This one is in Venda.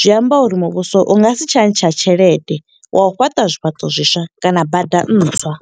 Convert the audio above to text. Zwi amba uri muvhuso u nga si tsha ntsha tshelede, wa u fhaṱa zwifhaṱo zwiswa kana bada ntswa.